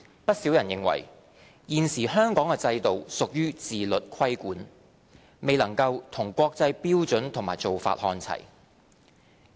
不少人認為，現時香港的制度屬於自律規管，未能與國際標準和做法看齊。